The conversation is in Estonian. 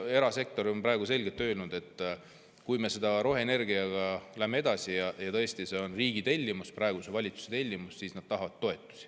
Erasektor on selgelt öelnud, et kui me roheenergiaga edasi läheme – tõesti, see on riigi tellimus, praeguse valitsuse tellimus –, siis nad tahavad toetusi.